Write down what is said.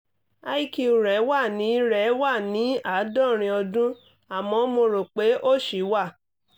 iq rẹ̀ wà ní rẹ̀ wà ní àádọ́rin ọdún àmọ́ mo rò pé ó ṣì wà